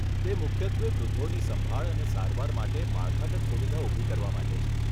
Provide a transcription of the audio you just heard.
તે મુખ્યત્વે વૃદ્ધોની સંભાળ અને સારવાર માટે માળખાગત સુવિધા ઊભી કરવા માટે છે.